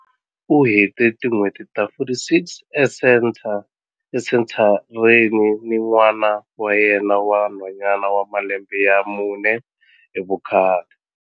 U hete tin'hweti ta 46 esenthareni ni n'wana wa yena wa nhwanyana wa malembe ya mune hi vukhale.